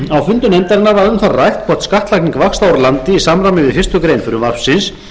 fundum nefndarinnar var um það rætt hvort skattlagning vaxta úr landi í samræmi við fyrstu grein frumvarpsins